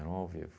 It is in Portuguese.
ao vivo.